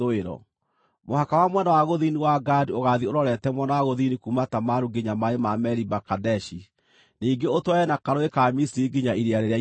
“Mũhaka wa mwena wa gũthini wa Gadi ũgaathiĩ ũrorete mwena wa gũthini kuuma Tamaru nginya maaĩ ma Meriba-Kadeshi, ningĩ ũtwarane na Karũũĩ ka Misiri nginya Iria Rĩrĩa Inene.